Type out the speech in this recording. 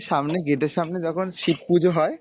সামনে gate এর সামনে যখন শিব পুজো হয়,